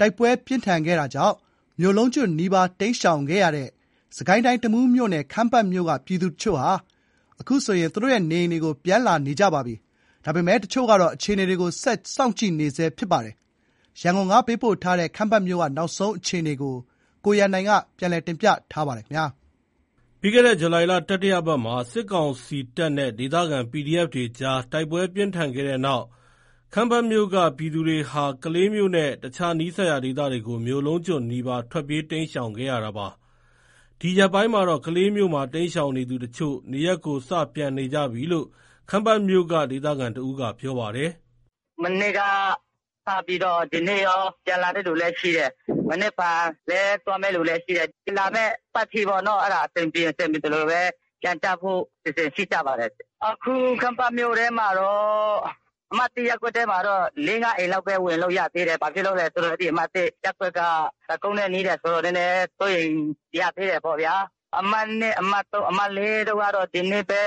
တိုက်ပွဲပြင်းထန်ခဲ့တာကြောင့် မြို့လုံးကျွတ်နီးပါး တိမ်းရှောင်ခဲ့ရတဲ့ စစ်ကိုင်းတိုင်း တမူးမြို့နယ် ခမ်းပတ်မြို့က ပြည်သူတချို့ သူတို့နေအိမ်တွေကို ပြန်လာနေကြပြီ ဖြစ်ပါတယ်။ စစ်တပ်ကုန်းနဲ့နီးတဲ့ အမှတ် ၁ ရပ်ကွက်က လူတွေကတော့ အခြေအနေကို စောင့်ကြည့်နေဆဲဖြစ်ပြီး ကျန် ရပ်ကွက်တွေက ကြာသပတေးနေ့ကစပြီး ပြန်လာနေကြတာပါ။ ရန်ကုန်က ပေးပို့ထားတဲ့ ခမ်းပတ်မြို့က နောက်ဆုံးအခြေအနေကို ကိုရန်နိုင်က တင်ပြထားပါတယ်။ ပြီးခဲ့တဲ့ ဇူလိုင်လ တတိယပတ်မှာ စစ်ကောင်စီတပ်နဲ့ ဒေသခံ PDF တွေအကြား တိုက်ပွဲ ပြင်းထန်ခဲ့တဲ့နောက် ခမ်းပတ်မြို့က ပြည်သူတွေဟာ ကလေးမြို့နဲ့ အခြား နီးစပ်ရာ ဒေသတွေကို မြို့လုံးကျွတ်နီးပါး ထွက်ပြေး တိမ်းရှောင်ခဲ့ရတာပါ။ ဒီရက်ပိုင်းမှာတော့ ကလေးမြို့မှာ တိမ်းရှောင်နေသူအချို့ နေရပ်ကို စ ပြန်နေကြပြီလို့ ခမ်းပတ်မြို့က ဒေသခံတဦးက ပြောပါတယ်။ “မနေ့က စပြီးတော့ ဒီနေ့ရော ပြန်လာတဲ့သူလည်း ရှိတယ်။ မနက်ဖြန်လည်း သွားမယ့်သူလည်း ရှိတယ်။ လာမယ့်အပတ် အထိပေါ့နော။ အဆင်ပြေရင် ပြေသလို ပြန်လာဖို့တော့ အစီအစဉ်ရှိကြပါတယ်။ အခု ခမ်းပတ်မြို့ထဲမှာတော့ အမှတ် ၁ ရပ်ကွက်မှာတော့ ၄- ၅ အိမ်လောက်ပဲ ဝင်လို့ ရသေးတယ်။ ဘာဖြစ်လို့လဲ ဆိုတော့ အဲဒီ အမှတ် ၁ ရပ်ကွက်က တပ်ကုန်းနဲ့ နီးတယ်ဆိုတော့ နည်းနည်း စိုးရိမ်ရသေးတယ်ပေါ့။ အမှတ် ၂၊ အမှတ် ၃၊ အမှတ် ၄ တို့ကတော့ ဒီနေ့ပဲ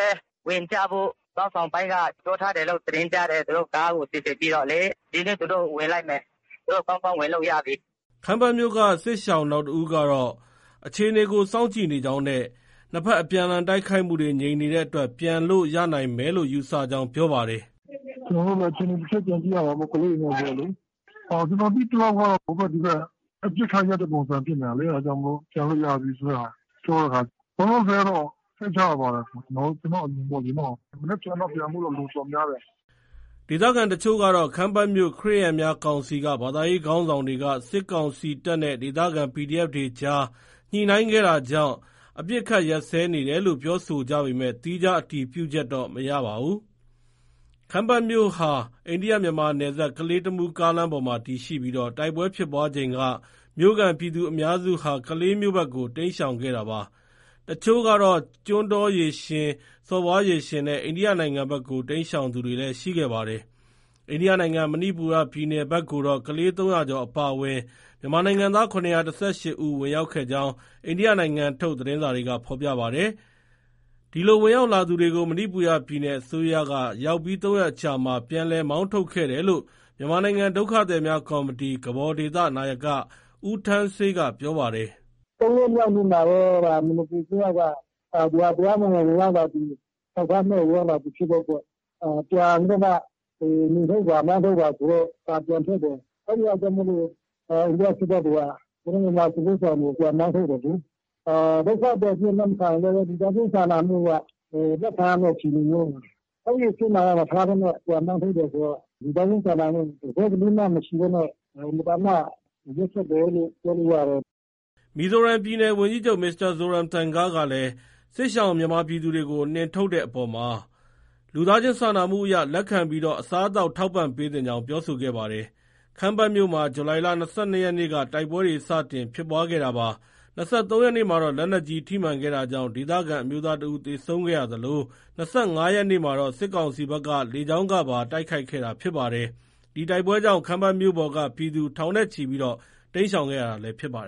ဝင်ကြဖို့၊ ခေါင်းဆောင်ပိုင်းက ပြောထားတယ်လို့ သတင်းကြားတယ်။ သူတို့ ကားစီစဉ်ပြီးတော့လေ။ ဒီနေ့ သူတို့ ဝင်လိမ့်မယ်။ သူတို့ ကောင်းကောင်း ဝင်လို့ ရပြီ။” ခမ်းပတ်မြို့က စစ်ရှောင် နောက်တဦးကတော့ အခြေအနေကို စောင့်ကြည့်နေကြောင်းနဲ့ နှစ်ဖက်အပြန်အလှန် တိုက်ခိုက်မှုတွေ ငြိမ်နေတဲ့အတွက် ပြန်လို့ ရနိုင်မယ်လို့ ယူဆကြောင်း ပြောပါတယ်။ “ကျနော်တို့လည်း အခြေအနေ တချက် ပြန်ကြည့်ရမှာပေါ့။ ကလေးတွေနဲ့ ဆိုတော့လေ။ ကျနော် သိသလောက်ကတော့ ဟိုဘက်ဒီဘက် အပစ်အခတ် ရပ်တဲ့ ပုံစံဖြစ်တော့လေ။ အဲဒါကြောင့်မို့ ပြန်လို့ရပြီဆိုတာ ပြောတဲ့ဟာ။ လောလောဆယ်ကတော့ စိတ်ချရပါတယ်။ ကျနော့် အမြင်ပေါ့လေ။ မနက်ဖန်ကတော့ ပြန်မယ့်သူ တော်တော်များတယ်။” ဒေသခံ အချို့ကတော့ ခမ်းပတ်မြို့ ခရစ်ယာန်များကောင်စီက ဘာသာရေးခေါင်းဆောင်တွေက စစ်ကောင်စီတပ်နဲ့ ဒေသခံPDF တွေအကြား ညှိနှိုင်းခဲ့တာကြောင့် အပစ်အခတ် ရပ်စဲနေတယ်လို့ ပြောဆိုကြပေမဲ့ သီးခြား အတည်ပြုချက်တော့ မရပါဘူး။ ခမ်းပတ်မြို့ဟာ အိန္ဒိယမြန်မာနယ်စပ် ကလေး- တမူးကားလမ်းပေါ်မှာ တည်ရှိပြီး တိုက်ပွဲဖြစ်ပွားချိန်က မြို့ခံ ပြည်သူ အများစုဟာ ကလေးမြို့ဘက်ကို တိမ်းရှောင်ခဲ့တာပါ။ တချို့ကတော့ ကျွန်းတောရေရှင်၊ စော်ဘွားရေရှင်နဲ့ အိန္ဒိယနိုင်ငံဘက်ကို တိမ်းရှောင်သူတွေလည်း ရှိခဲ့ပါတယ်။ အိန္ဒိယနိုင်ငံ မဏိပူရပြည်နယ်ဘက်ကိုတော့ ကလေး ၃၀၀ ကျော် အပါအဝင် မြန်မာနိုင်ငံသား ၇၁၈ ဦးဝင် ရောက်ခဲ့ကြောင်း အိန္ဒိယနိုင်ငံထုတ် သတင်းစာတွေက ဖော်ပြပါတယ်။ ဒီလို ဝင်ရောက်လာသူတွေကို မဏိပူရပြည်နယ် အစိုးရက ရောက်ပြီး ၃ ရက်အကြာမှာ ပြန်လည် မောင်းထုတ်ခဲ့တယ်လို့ မြန်မာနိုင်ငံ ဒုက္ခသည်များကော်မတီ နာယက ဦးထန်းဆေးက ပြောပါတယ်။ “ ၃ ရက်မြောက်နေ့မှာပဲ မဏိပူအစိုးရက ဒီဟာ တရားမဝင် ဝင်ရောက်လာသူ၊ အထောက်အထားမဲ့ ဝင်ရောက်လာသူဖြစ်တဲ့အတွက် ပြန်ပြီးမှ နှင်ထုတ်ပါ။ မောင်းထုတ်ပါဆိုတဲ့ စာပြန်ထွက်တယ်။ အဲ့ဒါကြောင့် အိန္ဒိယစစ်တပ်တွေက ကျနော်တို့ မြန်မာစစ်ဘေးရှောင်တွေကို ပြန်မောင်း ထုတ်တယ်လေ။ ဒုက္ခသည်အဖြစ် လက်မခံရင်လည်းပဲ လူသားချင်းစာနာမှုအရ လက်ခံရမယ့် အခြေအနေမျိုး။ အဲဒီအဆင့်မှာ မထားဘဲနဲ့ ပြန်မောင်း ထုတ်တယ်ဆိုတော့ လူသားချင်းစာနာမှု တစက်ကလေးမှ မရှိပဲနဲ့ အင်မတန်မှ ရက်စက်တယ်လို့ ပြောလို့ ရတယ်။” မီဇိုရမ်ပြည်နယ် ဝန်ကြီးချုပ် Mr. Zoramthanga ကလည်း စစ်ရှောင် မြန်မာပြည်သူတွေကို နှင်ထုတ်တဲ့အပေါ် လူသားချင်းစာနာမှုအရ လက်ခံပြီး အစားအသောက် ထောက်ပံ့ပေးသင့်ကြောင်း ပြောဆိုခဲ့ပါတယ်။ ခမ်းပတ်မြို့မှာ ဇူလိုင်လ ၂၂ရက်နေ့က တိုက်ပွဲတွေ စတင်ဖြစ်ခဲ့တာပါ။ ၂၃ ရက်နေ့မှာတော့ လက်နက်ကြီး ထိမှန်တာကြောင့် ဒေသခံ အမျိုးသားတဦး သေဆုံးခဲ့ရသလို၊ ၂၅ ရက်နေ့မှာတော့ စစ်ကောင်စီဘက်က လေကြောင်းကပါ တိုက်ခိုက်ခဲ့တာဖြစ်ပါတယ်။ ဒီတိုက်ပွဲကြောင့် ခမ်းပတ်မြို့ပေါ်က ပြည်သူ ထောင်နဲ့ချီပြီး တိမ်းရှောင်ခဲ့ရတာလည်း ဖြစ်ပါတယ်